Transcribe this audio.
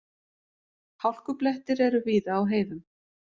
Hálkublettir eru víða á heiðum